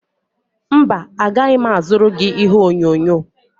mba, agaghị m azụrụ gị ihe onyonyo